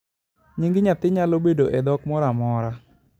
nying nyathi naylo bedo e dhok moro amora